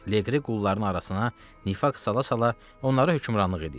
Leqri qulların arasına nifaq sala-sala onlara hökmranlıq edirdi.